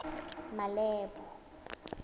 malebo